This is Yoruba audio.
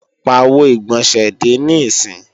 Pàwo ìgbọ̀nsẹ̀ dè níìsín!